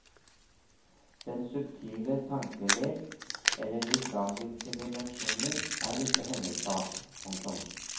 Den subtile tankelek eller de tragiske dimensjoner er ikke hennes sak. punktum